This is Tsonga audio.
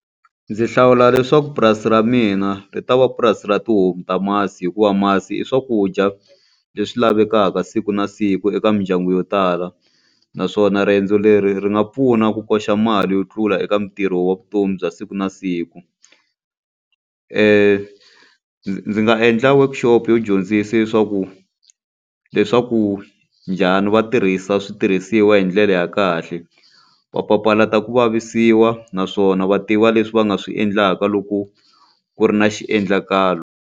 Ndzi hlawula leswaku purasi ra mina ri ta va purasi ra tihomu ta masi, hikuva masi i swakudya leswi lavekaka siku na siku eka mindyangu yo tala. Naswona riendzo leri ri nga pfuna ku koxa mali yo tlula eka ntirho wa vutomi bya siku na siku. Ndzi nga endla workshop yo dyondzisa leswaku leswaku njhani va tirhisa switirhisiwa hi ndlela ya kahle. Va papalata ku vavisiwa naswona va tiva leswi va nga swi endlaka loko ku ri na xiendlakalo.